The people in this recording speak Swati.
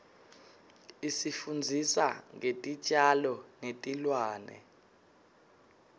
isifundzisa ngetitjalo netilwane